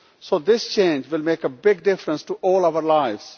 So this change will make a big difference to all our lives.